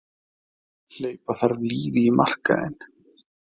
Hleypa þarf lífi í markaðinn